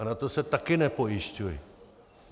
A na to se také nepojišťuji.